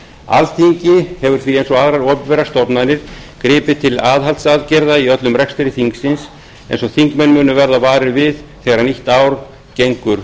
alþingi hefur því eins og aðrar opinberar stofnanir gripið til aðhaldsaðgerða í öllum rekstri þingsins eins og þingmenn munu verða varir við þegar nýtt ár gengur